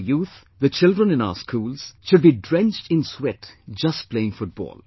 Our youth, the children in our schools, should be drenched in sweat just playing Football